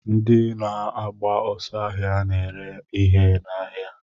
Ndị na-agba ọsọ ahia na-ere ihe n'ahịa.